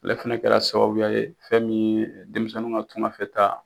Ale fɛnɛ kɛra sababuya ye, fɛn min ye denmisɛnninw ka tunganfɛtaa